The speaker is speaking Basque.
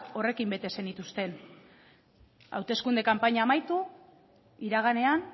horrekin bete zenituzten hauteskunde kanpaina amaitu iraganean